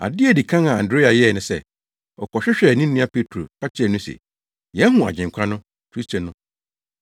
Ade a edi kan a Andrea yɛe ne sɛ, ɔkɔhwehwɛɛ ne nua Petro ka kyerɛɛ no se, “Yɛahu Agyenkwa no” (Kristo no).